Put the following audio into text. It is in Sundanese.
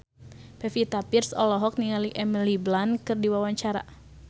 Pevita Pearce olohok ningali Emily Blunt keur diwawancara